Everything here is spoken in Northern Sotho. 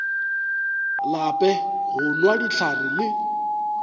lape go nwa dihlare le